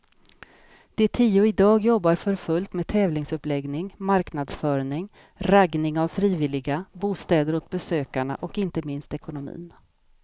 De tio idag jobbar för fullt med tävlingsuppläggning, marknadsföring, raggning av frivilliga, bostäder åt besökarna och inte minst ekonomin.